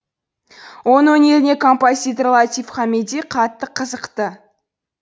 оның өнеріне композитор латиф хамиди қатты қызықты